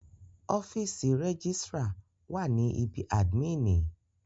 Ọ́fìsì rẹ́gísrà wà ní ibí àdmínìì.